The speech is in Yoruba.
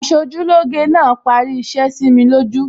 Aṣojúlóge náà parí iṣẹ́ sími lójú